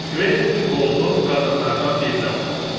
Kventin qolunu qadınlardan birinə uzatdı.